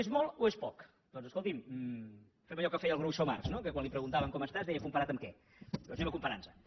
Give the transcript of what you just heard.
és molt o és poc doncs escolti’m fem allò que feia el groucho marx no que quan li preguntaven com estàs deia comparat amb què doncs comparem nos